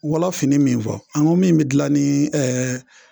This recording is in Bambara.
Wala fini min fɔ an ko min bɛ dilan ni ɛɛ